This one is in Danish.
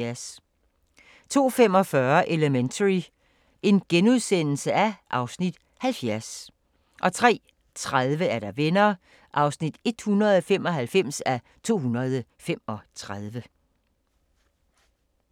02:45: Elementary (Afs. 70)* 03:30: Venner (195:235)